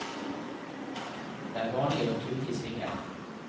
Det er vanlig å tute i svinger.